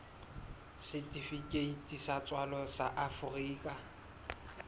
setifikeiti sa tswalo sa afrika